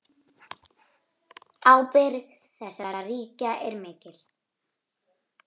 Ábyrgð þessara ríkja er mikil.